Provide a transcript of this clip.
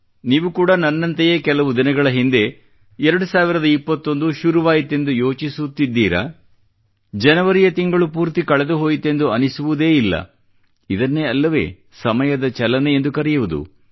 ನೀವು ಕೂಡಾ ನನ್ನಂತೆಯೇ ಕೆಲವೇ ದಿನಗಳ ಹಿಂದೆ 2021 ಶುರುವಾಯಿತೆಂದು ಯೋಚಿಸುತ್ತಿದ್ದೀರಾ ಜನವರಿಯ ತಿಂಗಳು ಪೂರ್ತಿ ಕಳೆದುಹೋಯಿತೆಂದು ಅನಿಸುವುದೇ ಇಲ್ಲ ಇದನ್ನೇ ಅಲ್ಲವೇ ಸಮಯದ ಚಲನೆ ಎಂದು ಕರೆಯುವುದು